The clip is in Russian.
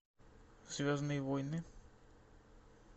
звездные войны